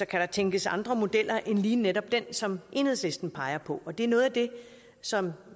kan der tænkes andre modeller end lige netop den som enhedslisten peger på og det er noget af det som